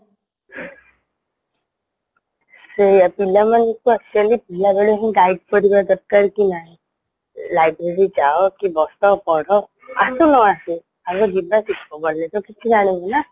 ସେଇଆ ପିଲାମାନେ actually ପିଲାବେଳେହିଁ guide କରିବା ଦରକାର କି ନାଇଁ library ଯାଅ କି ବସ ପଢ ଆସୁ ନଆସୁ ଆଗ ଯିବା ଶିଖା ଗାଲେଟ କିଛି ଜାଣିବନା